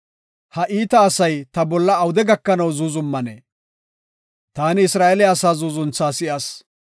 “Ha iita asay ta bolla awude gakanaw zuuzumanee? Taani Isra7eele asaa zuuzuntha si7as.